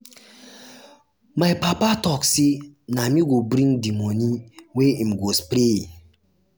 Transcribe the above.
my papa tok sey na me go bring di moni wey im um go spray.